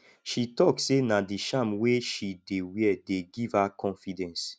she tok sey na di charm wey she dey wear dey give her confidence